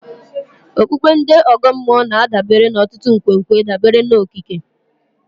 Okpukpe ndị ọgọ mmụọ na-adabere n'ọtụtụ nkwenkwe dabere n'okike.